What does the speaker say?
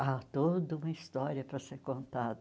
Há toda uma história para ser contada.